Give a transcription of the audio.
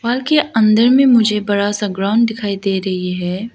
घर के अंदर में मुझे बड़ा सा ग्राउंड दिखाई दे रही है।